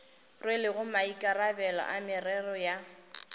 rwelego maikarabelo a merero ya